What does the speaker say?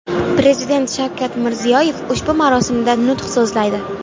Prezident Shavkat Mirziyoyev ushbu marosimda nutq so‘zlaydi.